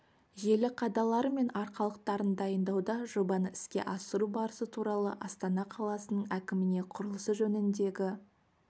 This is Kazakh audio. желі қадалары мен арқалықтарын дайындауда жобаны іске асыру барысы туралы астана қаласының әкіміне құрылысы жөніндегі